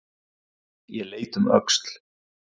Ég leit um öxl.